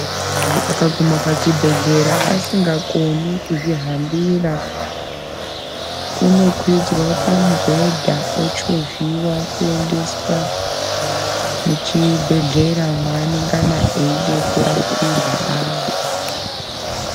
Muntu akaguma pachibhedhlera asingakoni kuzvihambira unokwidzwa pamubhedha ochovhiwa kuendeswa muchibhedhlera mwaanengana aide kurapirwa ari .